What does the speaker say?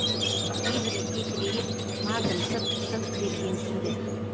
кейбірі кекірейіп мардымсып сырт бергенсиді